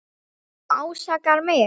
Þú ásakar mig.